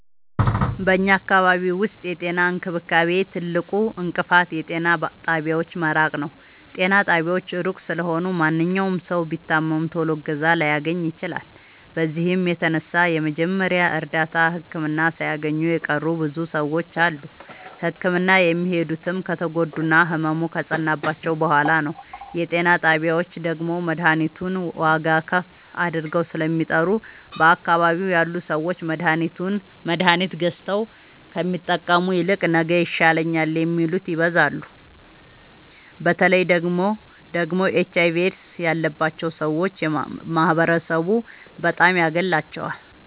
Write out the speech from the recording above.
በኛ አካባቢ ዉስጥ የጤና እንክብካቤ ትልቁ እንቅፋት የጤና ጣቢያዎች መራቅ ነዉ። ጤና ጣቢያዎች እሩቅ ስለሆኑ ማንኛዉም ሠዉ ቢታመም ቶሎ እገዛ ላያገኝ ይችላል። በዚህም የተነሣ የመጀመሪያ እርዳታ ህክምና ሣያገኙ የቀሩ ብዙ ሰዎች አሉ። ህክምና የሚሄዱትም ከተጎዱና ህመሙ ከፀናባቸዉ በሗላ ነዉ። የጤና ጣቢያዎች ደግሞ መድሀኒቱን ዋጋዉን ከፍ አድርገዉ ስለሚጠሩ በአካባቢዉ ያሉ ሠዎች መድሀኒት ገዝተዉ ከሚጠቀሙ ይልቅ ነገ ይሻለኛል የሚሉት ይበዛሉ። በተለይ ደግሞ ኤች አይቪ ኤድስ ያባቸዉ ሠዎች ማህበረሡ በጣም ያገላቸዋል።